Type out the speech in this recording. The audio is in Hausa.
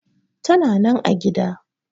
Tana nan a gida.